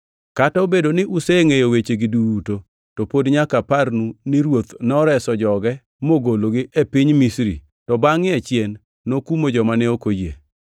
Kata obedo ni usengʼeyo wechegi duto to pod nyaka aparnu ni Ruoth noreso joge mogologi e piny Misri, to bangʼe achien nokumo joma ne ok oyie.